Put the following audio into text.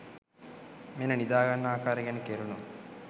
මෙන්න නිදා ගන්න ආකාරය ගැන කෙරුණු